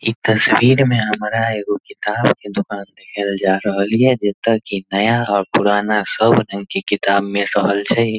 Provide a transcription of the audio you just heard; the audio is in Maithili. इ तस्वीर में हमरा एगो किताब के दुकान देखाल जाय रहल या जता कि नया और पुराना सब रंग के किताब मिल रहल छै।